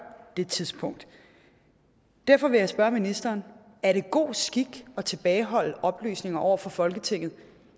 det tidspunkt derfor vil jeg spørge ministeren er det god skik at tilbageholde oplysninger over for folketinget